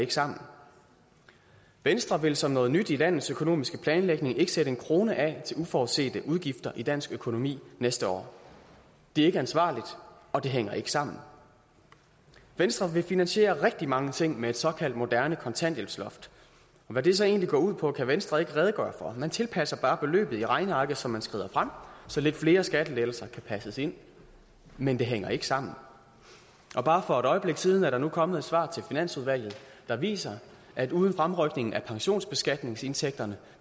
ikke sammen venstre vil som noget nyt i landets økonomiske planlægning ikke sætte en krone af til uforudsete udgifter i dansk økonomi næste år det er ikke ansvarligt og det hænger ikke sammen venstre vil finansiere rigtig mange ting med et såkaldt moderne kontanthjælpsloft og hvad det så egentlig går ud på kan venstre ikke redegøre for man tilpasser bare beløbet i regnearket som man skrider frem så lidt flere skattelettelser kan passes ind men det hænger ikke sammen og bare for et øjeblik siden er der nu kommet et svar til finansudvalget der viser at uden fremrykning af pensionsbeskatningsindtægterne